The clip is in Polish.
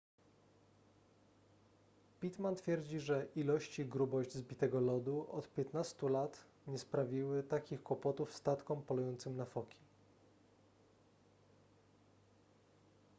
pittman twierdzi że ilość i grubość zbitego lodu od 15 lat nie sprawiły takich kłopotów statkom polującym na foki